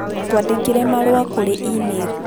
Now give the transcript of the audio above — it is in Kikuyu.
Twandĩkĩre marũa kũrĩ e-mail